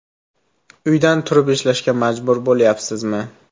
Uydan turib ishlashga majbur bo‘lyapsizmi?